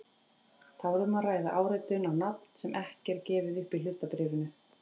Þá er um að ræða áritun á nafn sem ekki er gefið upp í hlutabréfinu.